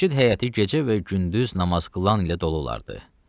Məscid həyəti gecə və gündüz namaz qılan ilə dolu olardı.